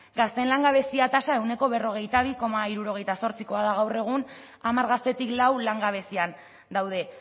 gazteen langabezia tasa ehuneko berrogeita bi koma hirurogeita zortzikoa da gaur egun hamar gaztetik lau langabezian daude